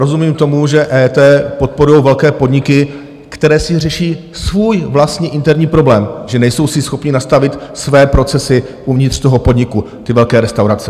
Rozumím tomu, že EET podporují velké podniky, které si řeší svůj vlastní interní problém, že nejsou si schopny nastavit své procesy uvnitř toho podniku, ty velké restaurace.